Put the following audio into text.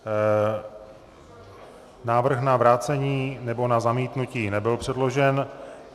Návrh na vrácení nebo na zamítnutí nebyl předložen.